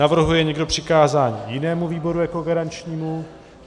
Navrhuje někdo přikázání jinému výboru jako garančnímu?